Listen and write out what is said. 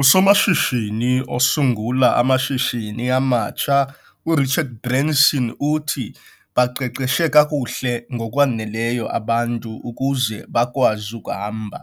Usomashishini osungula amashishini amatsha uRichard Branson uthi- 'Baqeqeshe kakuhle ngokwaneleyo abantu ukuze bakwazi ukuhamba,